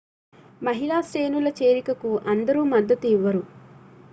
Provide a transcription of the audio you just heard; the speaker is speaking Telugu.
మహిళా శ్రేణుల చేరికకు అందరూ మద్దతు ఇవ్వరు